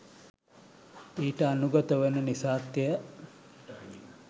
ඊට අනුගත වන නිසාත් ය.